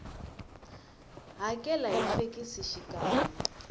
hakela hi fekisi xikan we